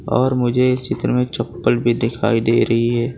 और मुझे एक चित्र में चप्पल भी दिखाई दे रही है।